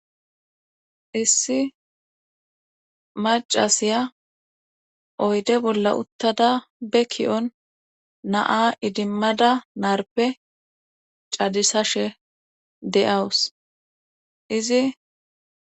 Issi macasiya oyde bolla uttada be ka'on naa idimmada naarpe cadisashe de'awus izi